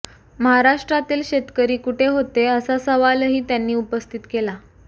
महाराष्ट्रातील शेतकरी कुठे होते असा सवालही त्यांनी उपस्थित केला